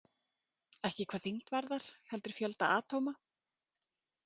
Ekki hvað þyngd varðar heldur fjölda atóma?